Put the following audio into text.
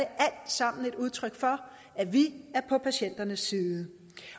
sammen et udtryk for at vi er på patienternes side